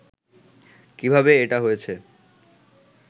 কিভাবে এটা হয়েছে